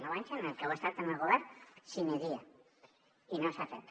nou anys en els que heu estat en el govern sine die i no s’ha fet